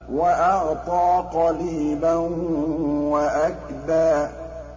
وَأَعْطَىٰ قَلِيلًا وَأَكْدَىٰ